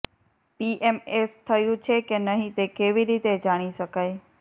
PMS થયું છે કે નહીં તે કેવી રીતે જાણી શકાય